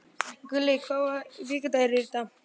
Gulli, hvaða vikudagur er í dag?